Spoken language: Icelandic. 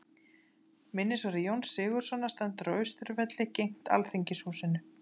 Minnisvarði Jóns Sigurðssonar stendur á Austurvelli, gegnt Alþingishúsinu.